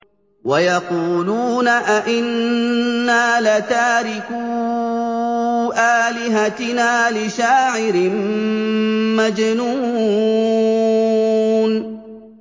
وَيَقُولُونَ أَئِنَّا لَتَارِكُو آلِهَتِنَا لِشَاعِرٍ مَّجْنُونٍ